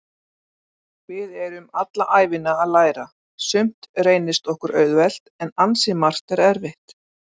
Við erum alla ævina að læra, sumt reynist okkur auðvelt en ansi margt er erfitt.